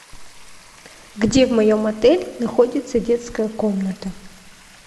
где в моем отеле находится детская комната